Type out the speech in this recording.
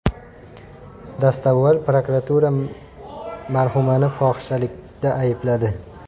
Dastavval prokuratura marhumani fohishalikda aybladi .